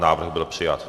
Návrh byl přijat.